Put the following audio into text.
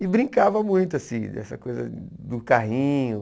E brincava muito, assim, dessa coisa do carrinho.